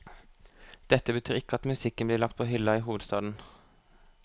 Dette betyr ikke at musikken blir lagt på hyllen i hovedstaden.